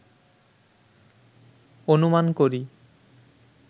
অনুমান করি